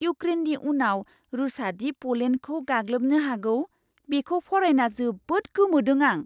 इऊक्रेननि उनाव रुसआदि प'लेन्डखौ गाग्लोबनो हागौ, बेखौ फरायना जोबोद गोमोदों आं!